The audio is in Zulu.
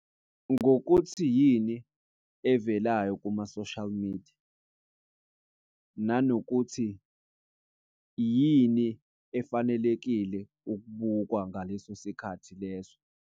Ngokuthi yini evelayo kuma-social media, nanokuthi yini efanelekile ukubukwa ngaleso sikhathi leso.